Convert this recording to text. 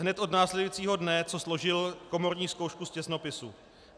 Hned od následujícího dne, co složil komorní zkoušku z těsnopisu.